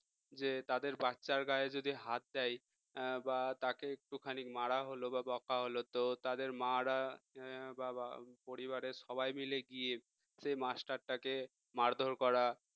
যে তাদের বাচ্চার গায়ে যদি হাত দেয় বা তাকে একটুখানি মারা হলো বা বকা হলো তো তাদের মা রা বাবা পরিবারের সবাই মিলে গিয়ে সেই মাস্টারটাকে মারধর করা